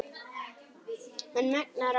Hann megnar allt.